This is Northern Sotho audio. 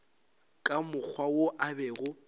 ka mokgwa wo a bego